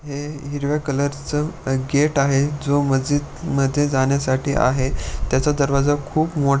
हे हिरव्या कलर चं गेट आहे जो मस्जिद मध्ये जाण्यासाठी आहे त्याचा दरवाजा खूप मो --